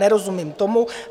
Nerozumím tomu.